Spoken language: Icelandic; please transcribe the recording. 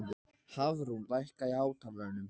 Hafrún, lækkaðu í hátalaranum.